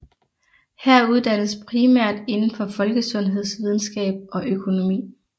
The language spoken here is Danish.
Her uddannes primært indenfor folkesundhedsvidenskab og økonomi